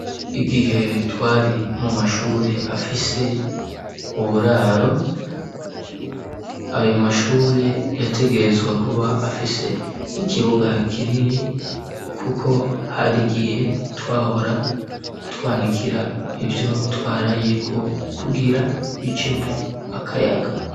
Igihe twari, mu mashure afise uburaro, ayo mashure, yategerezwa, kuba afise ikibuga kinini; kuko, hari igihe twahora, twanikira ivyo twarayeko, kugira bicemwo, akayaga.